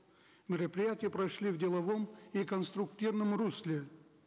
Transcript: мероприятия прошли в деловом и конструктивном русле